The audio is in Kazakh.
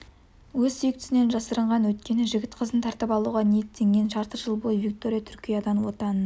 өз сүйіктісінен жасырынған өйткені жігіті қызын тартып алуға ниеттенген жарты жыл бойы виктория түркиядан отанына